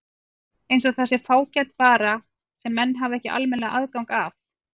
Eins og það sé fágæt vara sem menn hafi ekki almennt aðgang að.